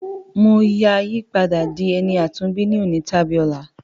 Mo ya yi padà di ẹni àtúnbí ni òní tàbí ọla.